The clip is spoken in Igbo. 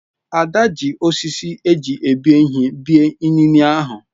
Ada ji osisi eji ebi ihe bie inine ahụ.